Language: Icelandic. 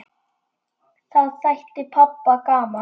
Það þætti pabba gaman.